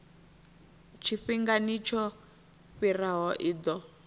tshifhingani tsho fhiraho i ḓo